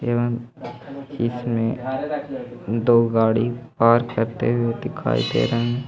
एवं इसमें दो गाड़ी और दिखाई दे रहे हैं ।